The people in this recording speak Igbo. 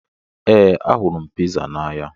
Ee, ahụrụ m piza n'anya.